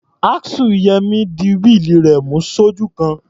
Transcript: Axle Yẹmí di wíìlì rẹ̀ mú sójú kan.